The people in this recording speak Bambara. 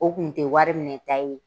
O tun tɛ wari minɛta ye